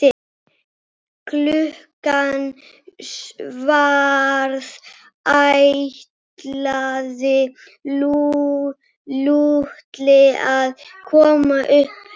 Klukkan hvað ætlaði Lúlli að koma upp eftir?